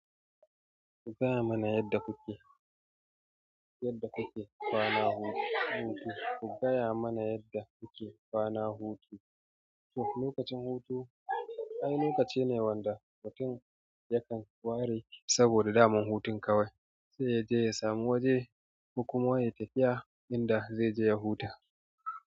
Ku gaya mana yadda kuke, yadda kuke kwana hutu. Ku gaya mana yadda kuke kwana hutu. To, lokacin hutu wani lokaci ne wanda mutum yakan ware saboda damar hutun kawai sai ya je ya samu waje kuma ya tafiya inda zai je ya huta.